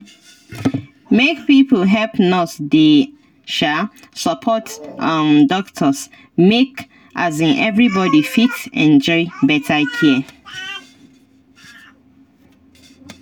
make pipo help nurse dey um support um doctors make um everybody fit enjoy better care.